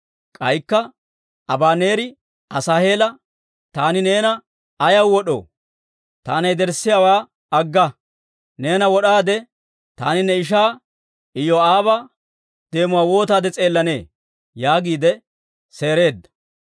K'aykka Abaneeri Asaaheela, «Taani neena ayaw wod'oo? taana yederssiyaawaa agga! Neena wod'aade, taani ne ishaa Iyoo'aaba deemuwaa wootaade s'eellanee?» yaagiide seereedda.